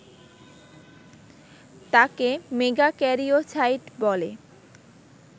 তাকে মেগাক্যারিওসাইট বলে